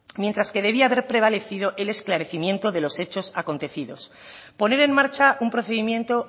mientras que debería haber prevalecido el esclarecimiento de los hechos acontecidos poner en marcha un procedimiento